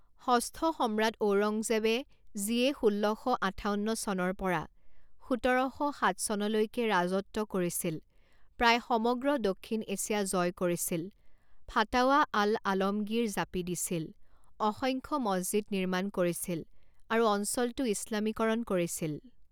ষষ্ঠ সম্ৰাট ঔৰংজেব যিয়ে ষোল্ল শ আঠাৱন্ন চনৰ পৰা সোতৰ শ সাত চনলৈকে ৰাজত্ব কৰিছিল প্ৰায় সমগ্ৰ দক্ষিণ এছিয়া জয় কৰিছিল ফাটাৱা আল আলমগীৰ জাপি দিছিল অসংখ্য মছজিদ নিৰ্মাণ কৰিছিল আৰু অঞ্চলটো ইছলামীকৰণ কৰিছিল।